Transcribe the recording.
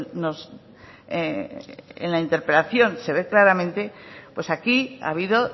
nos en la interpelación se ve claramente pues aquí ha habido